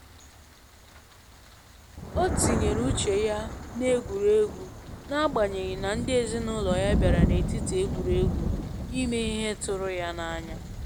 O tinyere uche ya na egwuregwu na agbanyeghị na ndị ezinụlọ ya bịara n'etiti egwuregwu ime ihe tụrụ ya na anya